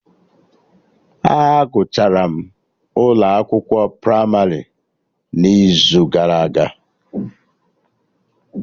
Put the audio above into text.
A gụchara m ụlọ akwụkwọ pramarị n'izu gara aga